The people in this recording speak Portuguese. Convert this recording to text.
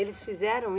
Eles fizeram?